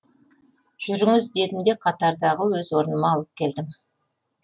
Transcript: жүріңіз дедім де қатардағы өз орныма алып келдім